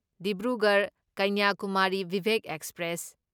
Dibrugarh Kanyakumari Vivek express